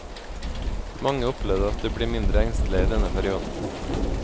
Mange opplevet at de ble mindre engstelige i denne perioden.